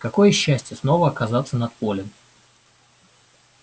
какое счастье снова оказаться над полем